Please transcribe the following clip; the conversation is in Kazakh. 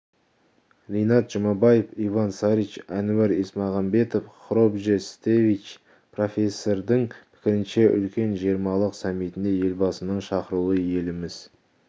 ринат жұмабаев иван сарич әнуар исмағамбетов хровже стевич профессордың пікірінше үлкен жиырмалық саммитіне елбасының шақырылуы еліміз